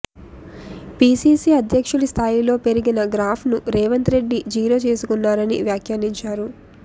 PCC అధ్యక్షుడి స్థాయిలో పెరిగిన గ్రాఫ్ను రేవంత్ రెడ్డి జీరో చేసుకున్నారని వ్యాఖ్యానించారు